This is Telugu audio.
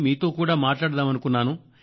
మీతో కూడా మాట్లాడదామనుకున్నాను